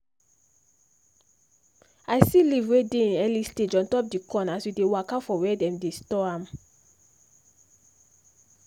i see leave wey dey hin early stage ontop the corn as we dey waka for where them dey store am